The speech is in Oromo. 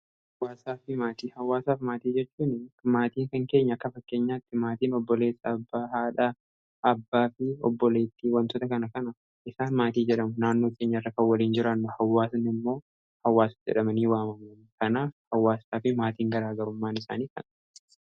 Hawaasaafi maatii, hawaasaafi maatii jechuun maatiin kan keenya akka fakkeenyaatti maatiin obboleessa , abbaa, haadhaa, abbaa fi obboleettii wantoota kana kana isaan maatii jedhamu . Naannoo keenya irra kan waliin jiraannu hawaasan immoo hawaasa jedhamanii waamamu. Kanaaf hawwaasaa fi maatiin garaagarummaan isaanii kana.